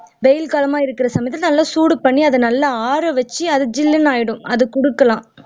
வெயில் காலமா இருக்கிற காலத்துல நல்லா சூடு பண்ணி அதை ஆறவச்சு அது சில்ல்லுனு ஆயிடும் அது குடுக்கலாம்